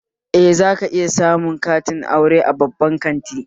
Eh, za ka iya samun zoben aure a babban kanti